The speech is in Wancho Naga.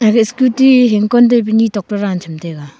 aga scooty hingkon taipu ni tok to dan chamtaiga.